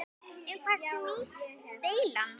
Um hvað snýst deilan?